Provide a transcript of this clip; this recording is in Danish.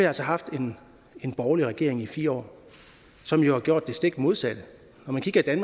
altså haft en borgerlig regering i fire år som jo har gjort det stik modsatte når man kigger i